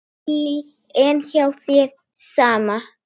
Lillý: En hjá þér, sama?